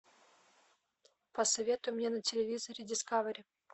посоветуй мне на телевизоре дискавери